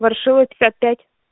ворошилова пятьдесят пять